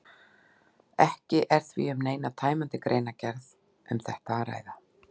Ekki er því um neina tæmandi greinargerð um þetta að ræða.